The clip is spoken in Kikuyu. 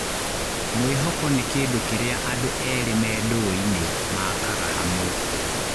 Mwĩhoko nĩ kĩndũ kĩrĩa andũ erĩ me ndũgũ-inĩ makaga hamwe